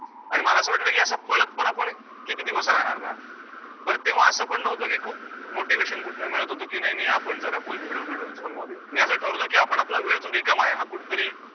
आणि मला असं वाटलं की असं पळतं पण आपण किती दिवस राहणार ना? तर तेव्हा असं पण नव्हतं, की खूप motivation कुठनं मिळतं होतं, की नाही नाही आपण जरा full भिडूबिडू मध्ये मी असं ठरवलं, की आपण आपला वेळ जो रिकामा आहे, तो कुठेतरी